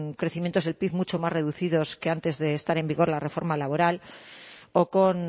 crecimientos del pib mucho más reducidos que antes de estar en vigor la reforma laboral o con